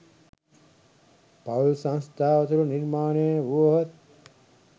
පවුල් සංස්ථාව තුළ නිර්මාණය වුවහොත්